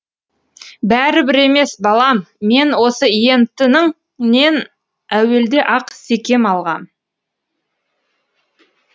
бәрібір емес балам мен осы ент іңнен әуелде ақ секем алғам